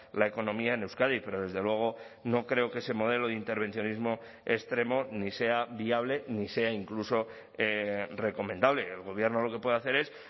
la economía en euskadi pero desde luego no creo que ese modelo de intervencionismo extremo ni sea viable ni sea incluso recomendable el gobierno lo que puede hacer es